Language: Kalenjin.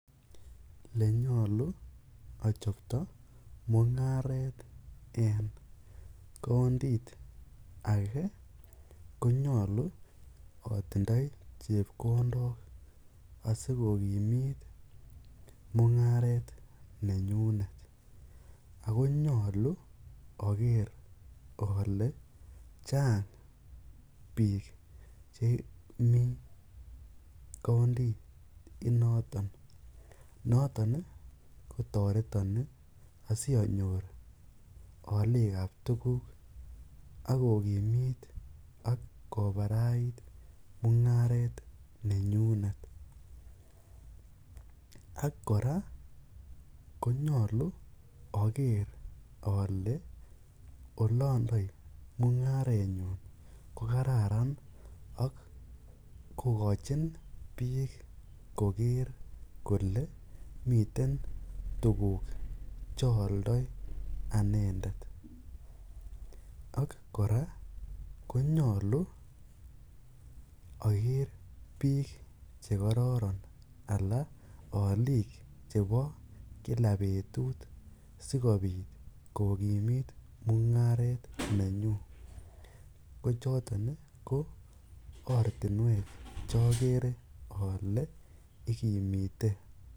Elenyolu ochobto mungaret en countit akee konyolu otindoi chepkondok asikokimit mungaret nenyunet ak ko nyolu oker olee chang biik chemii countit inoton, noton kotoreton asionyor aliikab tukuk ak kokimit ak kobarait mungaret nenyunet ak kora konyolu oker olee olondoi mungarenyun ko kararan ak kokochin biik koker kolee miten tukuk choldoi anendet, ak kora konyolu oker biik chekororon alaa oliik chebo kila betut sikobiit kokimit mungaret nenyun, ko choton ko ortinwek chokere olee ikimite.